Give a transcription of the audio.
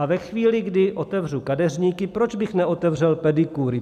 A ve chvíli, kdy otevřu kadeřníky, proč bych neotevřel pedikúry.